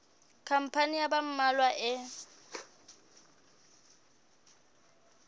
khampani ya ba mmalwa e